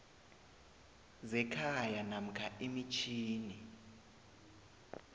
zekhaya namkha imitjhini